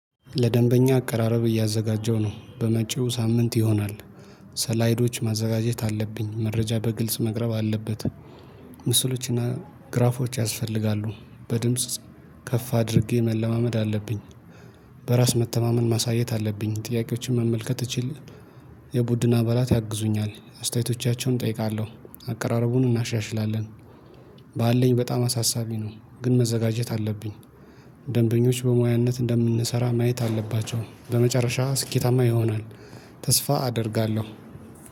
ለደንበኛ አቀራረብ እያዘጋጀው ነው በመጪው ሳምንት ይሆናል። እስላይዶች ማዘጋጀት አለብኝ መረጃ በግልጽ መቅረብ አለበት። ምስሎችና ግራፎች ያስፈልጋሉ በድምጽ ከፍ አድርጌ መለማመድ አለብኝ። በራስ መተማመን ማሳየት አለብኝ ጥያቄዎችን መመልከት እችል። የቡድን አባላት ያግዙኛል አስተያየቶቻቸውን እጠይቃለሁ አቀራረቡን እናሻሽላለን። ባለኝ በጣም አሳሳቢ ነው ግን መዘጋጀት አለብኝ። ደንበኞች በሙያነት እንደምንሰራ ማየት አለባቸው በመጨረሻ ስኬታማ ይሆናል። ተስፋ አደርጋለሁ